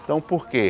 Então por quê?